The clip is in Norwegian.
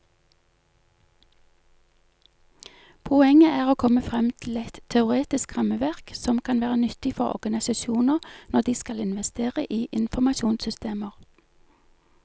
Poenget er å komme frem til et teoretisk rammeverk som kan være nyttig for organisasjoner når de skal investere i informasjonssystemer.